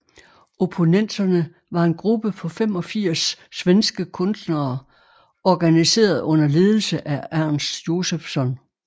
Opponenterna var en gruppe på 85 svenske kunstnere organiseret under ledelse af Ernst Josephson